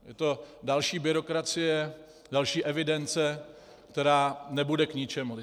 Je to další byrokracie, další evidence, která nebude k ničemu.